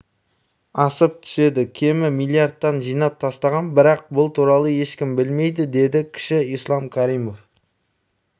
асып түседі кемі миллиардтан жинап тастаған бірақ бұл туралы ешкім білмейді деді кіші ислам каримов